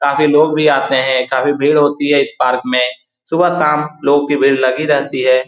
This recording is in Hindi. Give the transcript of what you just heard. काफ़ी लोग भी आते हैं काफ़ी भीड़ होती हैं इस पार्क में सुबह-शाम लोग की भीड़ लगी रहती है ।